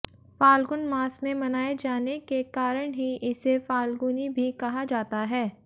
फाल्गुन मास में मनाए जाने के कारण ही इसे फाल्गुनी भी कहा जाता हैं